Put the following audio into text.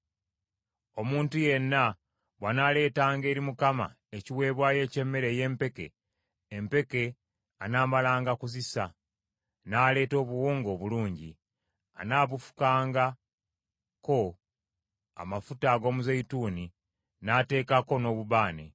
“ ‘Omuntu yenna bw’anaaleetanga eri Mukama ekiweebwayo eky’emmere ey’empeke; empeke anaamalanga kuzisa, n’aleeta obuwunga obulungi. Anaabufukangako amafuta ag’omuzeeyituuni, n’ateekako n’obubaane,